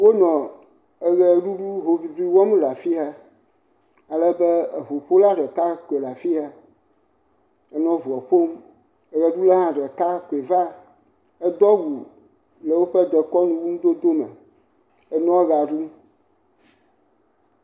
Wonɔ eʋeɖuɖu hoŋiŋli wɔm le afi ya, alebe eŋuƒola ɖeka koe le afi ya enɔ ŋua ƒom, eʋeɖula hã ɖeka koe va, edo awu le woƒe dekɔnu nudodo me, enɔa ʋea ɖum.